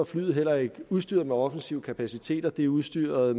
flyet heller ikke udstyret med offensive kapaciteter det er udstyret